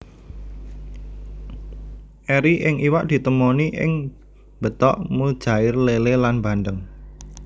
Eri ing iwak ditemoni ing betok mujair lélé lan bandeng